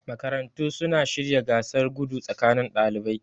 Makarantu suna shirya gasar gudu tsakanin dalibai